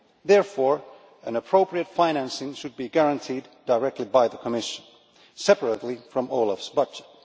therefore, appropriate financing should be guaranteed directly by the Commission, separately from OLAF's budget.